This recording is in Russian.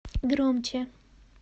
громче